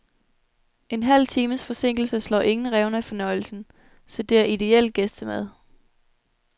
En halv times forsinkelse slår ingen revner i fornøjelsen, så det er idéel gæstemad.